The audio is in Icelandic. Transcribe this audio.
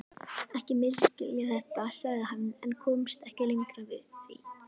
Ekki misskilja þetta, sagði hann en komst ekki lengra því